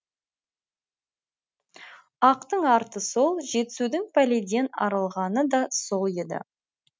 ақтың арты сол жетісудың пәледен арылғаны да сол еді